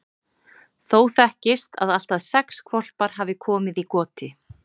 Þó þekkist að allt að sex hvolpar hafi komið í goti.